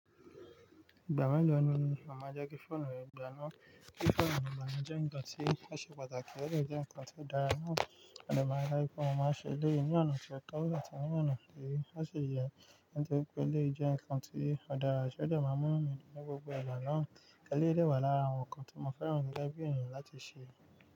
Ìgbà mélòó ni màá jẹ́ kí fóònù re gbaná? Kí fóònù mi gbaná jẹ́ ǹkan tí ó ṣe pàtàkì, ó jẹ́ ǹkan tí ó dára náà. A lè máa rí i pé mo máa ṣe léè ní ọ̀nà tí ó tọ́, a tí ní ọ̀nà ti oṣi ye Nítorí pé eleyi jẹ́ ǹkan tí ó dára ṣe, ó de máa mú mi ní gbogbo ìgbà náà. Eléè wà lára àwọn ǹkan tí mo fẹ́ràn jù gege bi ènìyàn láti ṣe.